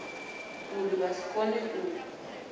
uri vha si kone u